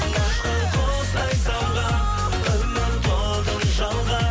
ұшқан құстай самға үміт отын жалға